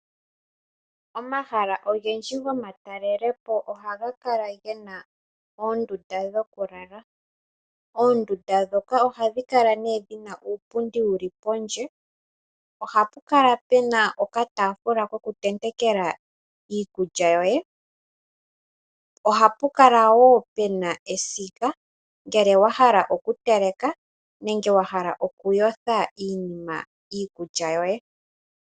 Omahala ogendji go matalele po ohaga kala gena oondunda dhokulala, oondunda ndhoka ohadhi kala nee dhina uupundi wu li pondje, ohapu kala puna okatafula kokutentekela iikulya yoye, ohapu kala puna wo esiga ngele wa hala okuteleka nenge okuyotha iikulya yoye.